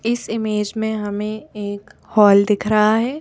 इस इमेज में हमें एक हाल दिख रहा है।